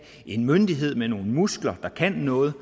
en myndighed med nogle muskler der kan noget